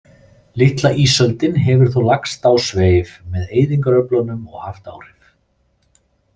Litla ísöldin hefur þó lagst á sveif með eyðingaröflunum og haft áhrif.